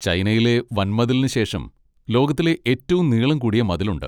ചൈനയിലെ വൻമതിലിനുശേഷം ലോകത്തിലെ ഏറ്റവും നീളം കൂടിയ മതിലുണ്ട്.